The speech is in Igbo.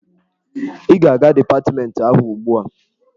Ị ga-aga dipatmentị ahụ ugbu a!